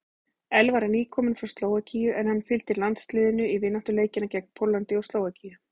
Elvar er nýkominn frá Slóvakíu en hann fylgdi landsliðinu í vináttuleikina gegn Póllandi og Slóvakíu.